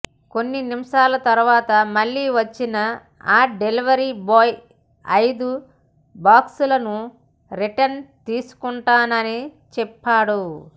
కొన్ని నిమిషాల తర్వాత మళ్లీ వచ్చిన ఆ డెలివరీ బాయ్ ఐదు బాక్సులనూ రిటర్న్ తీసుకుంటానని చెప్పాడు